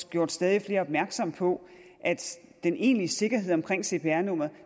gjort stadig flere opmærksomme på at den egentlige sikkerhed omkring cpr numrene